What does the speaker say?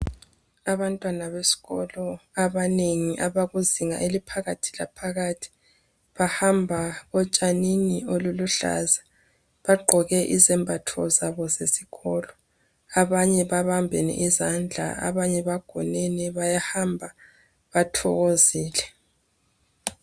Abantwana besikolo abanengi abakuzinga eliphakathi laphakarhi bahamba otshanini oluluhlaza. Bagqoke izembatho zabo zesikolo. Abanye babambene izandla, abanye bagonene bayahamba bathokozile.